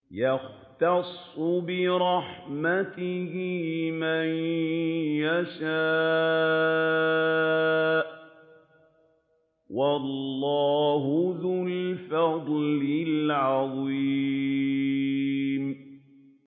يَخْتَصُّ بِرَحْمَتِهِ مَن يَشَاءُ ۗ وَاللَّهُ ذُو الْفَضْلِ الْعَظِيمِ